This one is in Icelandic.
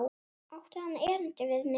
Átti hann erindi við mig?